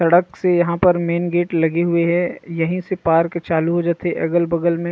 सड़क से यहाँ पर मैन गेट लगे हुए हे यही से पार्क चालू हो जथे अगल-बगल में--